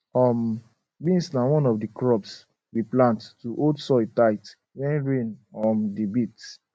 um beans na one of di crops we plant to hold soil tight when rain um dey beat